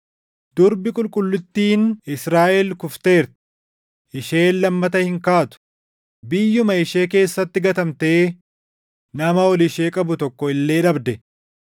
“Durbi qulqullittiin Israaʼel kufteerti; isheen lammata hin kaatu; biyyuma ishee keessatti gatamtee nama ol ishee qabu tokko illee dhabde.”